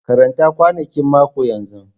Karanta kwanakin mako yanzu!